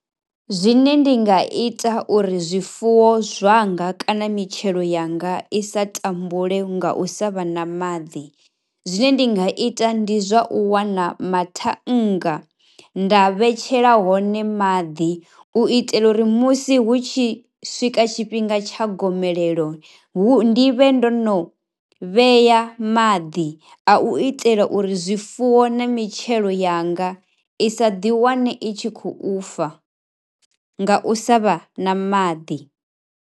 Zwine ndi nga ita uri zwifuwo zwanga kana mitshelo yanga i sa tambule nga u sa vha na maḓi zwine ndi nga ita ndi zwa u wana mathannga, nda vhetshela hone maḓi u itela uri musi hu tshi swika tshifhinga tsha gomelelo hu, ndi vhe ndo no vhea maḓi a u itela uri zwifuwo na mitshelo yanga i sa ḓiwane i tshi khou fa nga u sa vha na maḓi.